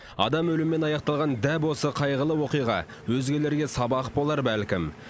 адам өліммен аяқталған дәп осы қайғылы оқиға өзгелерге сабақ болар бәлкім